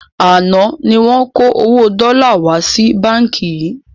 Àná ni wọn kó owó dọ́là wá sí báńkì yìí